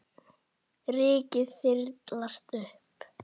Rykið þyrlast upp.